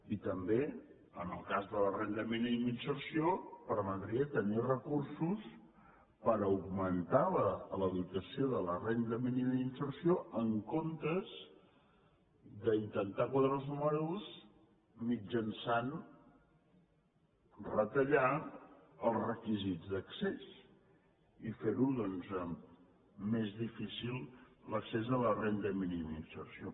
i també en el cas de la renda mínima d’inserció permetria tenir recursos per augmentar la dotació de la renda mínima d’inserció en comptes d’intentar quadrar els números mitjançant retallar els requisits d’accés i fer doncs més difícil l’accés a la renda mínima d’inserció